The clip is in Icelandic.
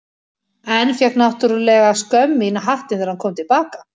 En fékk náttúrlega skömm í hattinn þegar hann kom til baka.